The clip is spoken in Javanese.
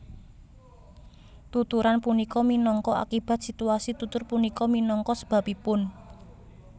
Tuturan punika minangka akibat situasi tutur punika minangka sebabipun